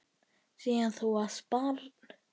Síðan þú varst barn.